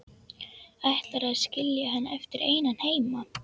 Ætlarðu að skilja hann eftir einan heima?